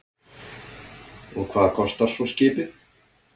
Og hvað kostar svo skipið?